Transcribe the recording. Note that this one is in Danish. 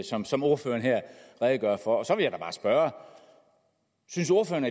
som som ordføreren her redegør for så vil jeg da bare spørge synes ordføreren